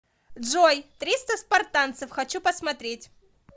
джой триста спартанцев хочу посмотреть